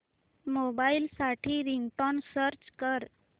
mobile साठी ringtone search कर